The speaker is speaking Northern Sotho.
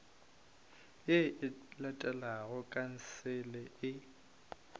ye e latelago khansele e